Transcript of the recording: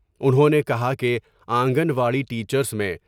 انہوں نے کہا کہ آنگن واڑی ٹیچرس میں